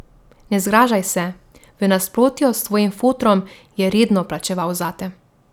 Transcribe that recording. Ne zgražaj se, v nasprotju s tvojim fotrom, je redno plačeval zate.